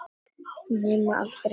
Nema aldrei staðar.